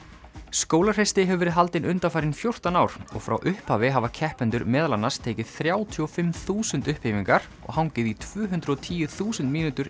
skólahreysti hefur verið haldin undanfarin fjórtán ár og frá upphafi hafa keppendur meðal annars tekið þrjátíu og fimm þúsund og hangið í tvö hundruð og tíu þúsund mínútur